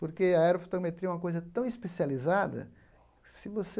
Porque a aerofotometria é uma coisa tão especializada, se você...